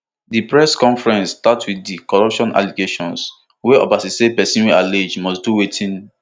di press conference start wit di corruption allegations wia obasa say pesin wey allege must do wetin